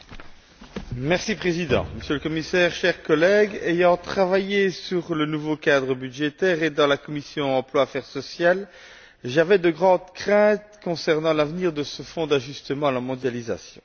Monsieur le Président, Monsieur le Commissaire, chers collègues, ayant travaillé sur le nouveau cadre budgétaire et dans la commission de l'emploi et des affaires sociales, j'avais de grandes craintes concernant l'avenir de ce Fonds d'ajustement à la mondialisation.